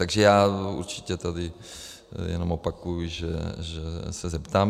Takže já určitě tady jenom opakuji, že se zeptám.